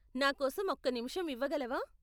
నా కోసం ఒక్క నిముషం ఇవ్వగలవా?